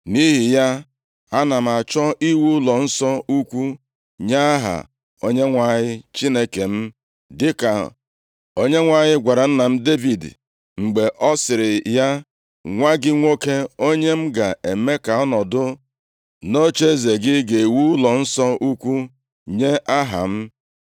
Nʼihi ya, ana m achọ iwu ụlọnsọ ukwu nye Aha Onyenwe anyị Chineke m, dịka Onyenwe anyị gwara nna m Devid mgbe ọ sịrị ya, ‘Nwa gị nwoke, onye m ga-eme ka ọ nọdụ nʼocheeze gị, ga-ewu ụlọnsọ ukwu nye Aha m.’